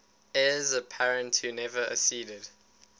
heirs apparent who never acceded